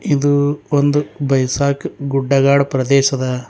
ಇದು ಒಂದು ಬೈಸಾಕ್ ಗುಡ್ಡಗಾಡು ಪ್ರದೇಶ್ ಅದ.